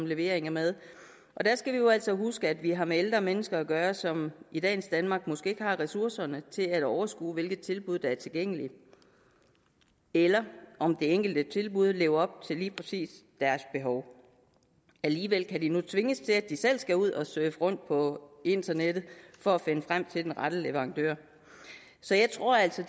levering af mad og der skal vi jo altså huske at vi har med ældre mennesker at gøre som i dagens danmark måske ikke har ressourcerne til at overskue hvilke tilbud der er tilgængelige eller om det enkelte tilbud lever op til lige præcis deres behov alligevel kan de nu tvinges til at de selv skal ud og surfe rundt på internettet for at finde frem til den rette leverandør så jeg tror altså